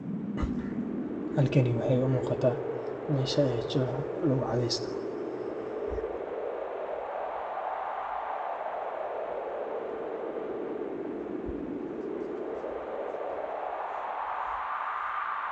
halkani waxa iigamuuqata meesha aay chooha lagu cathaisto